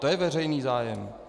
To je veřejný zájem.